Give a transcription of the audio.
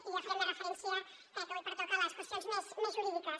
i jo faré referència crec que avui pertoca a les qüestions més jurídiques